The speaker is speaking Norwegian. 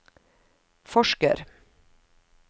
forsker